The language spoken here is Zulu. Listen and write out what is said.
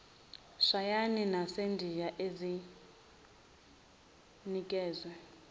shayina nasendiya ezinikezwe